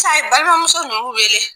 Sisan a ye balimamuso ninnu wele